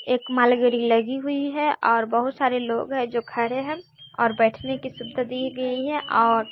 एक मालगेड़ी लगी हुई है और बहुत सारे लोग हैं जो खड़े हैं और बैठने की सुविधा दी गई हैं और--